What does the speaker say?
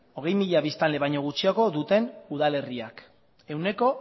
hogei mila biztanle baino gutxiago duten udalerriak ehuneko